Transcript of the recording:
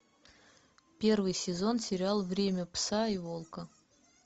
первый сезон сериал время пса и волка